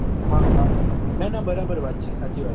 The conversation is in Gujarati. હા હા ના ના બરાબર વાત છે સાચી વાત છે